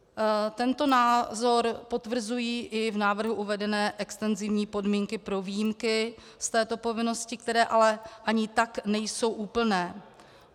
Tento názor potvrzují i v návrhu uvedené extenzivní podmínky pro výjimky z této povinnosti, které ale ani tak nejsou úplné.